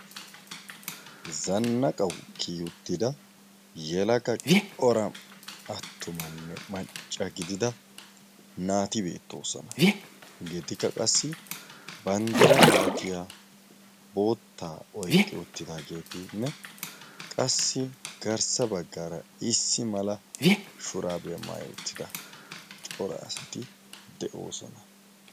zannaqawu kiyuttida yelaga cora attumanne macca gidida naati beettoosona. hegeedikka qassi banddira malatiyaa boottaa oiqqi ottidaageetinne qassi garssa baggaara issi mala shuraabiyaa maayi uttida cora asati de7oosona.